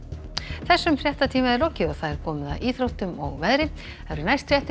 þessum fréttatíma er lokið og komið að íþróttum og veðri næstu fréttir